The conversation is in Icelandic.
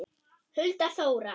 Hulda Þóra.